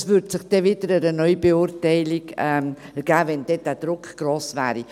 Es würde sich wieder eine Neubeurteilung ergeben, wenn der Druck gross sei.